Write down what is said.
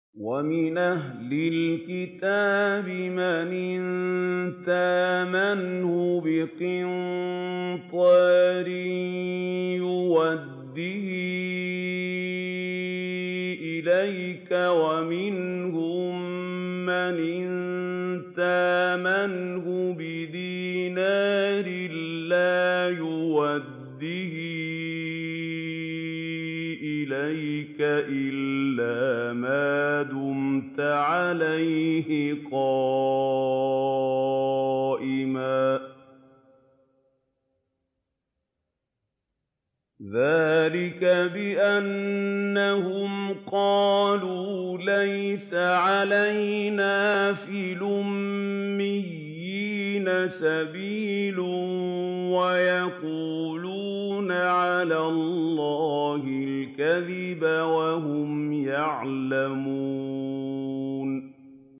۞ وَمِنْ أَهْلِ الْكِتَابِ مَنْ إِن تَأْمَنْهُ بِقِنطَارٍ يُؤَدِّهِ إِلَيْكَ وَمِنْهُم مَّنْ إِن تَأْمَنْهُ بِدِينَارٍ لَّا يُؤَدِّهِ إِلَيْكَ إِلَّا مَا دُمْتَ عَلَيْهِ قَائِمًا ۗ ذَٰلِكَ بِأَنَّهُمْ قَالُوا لَيْسَ عَلَيْنَا فِي الْأُمِّيِّينَ سَبِيلٌ وَيَقُولُونَ عَلَى اللَّهِ الْكَذِبَ وَهُمْ يَعْلَمُونَ